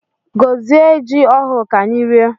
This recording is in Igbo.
Gozie jị ọhụụ ka anyị rie!